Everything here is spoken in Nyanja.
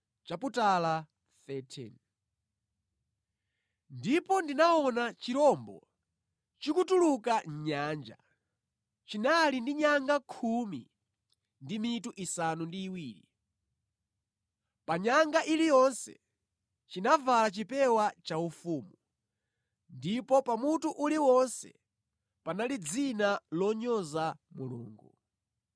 Ndipo ndinaona chirombo chikutuluka mʼnyanja. Chinali ndi nyanga khumi ndi mitu isanu ndi iwiri. Pa nyanga iliyonse chinavala chipewa chaufumu, ndipo pa mutu uliwonse panali dzina lonyoza Mulungu.